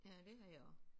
Ja det har jeg også